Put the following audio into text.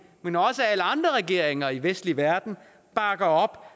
men også alle andre regeringer i den vestlige verden bakker op